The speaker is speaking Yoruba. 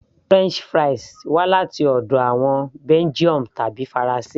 french fries wá láti ọ̀dọ̀ àwọn Belgium tàbí faransé